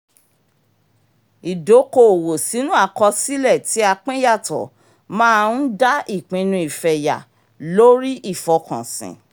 ìdoko-owó sínú àkósílẹ̀ tí a pín yàtò̀ máa ń dá ìpinnu ìfẹ̀yà lórí ìfọkànsìn